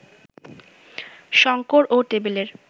শঙ্কর ও টেবিলের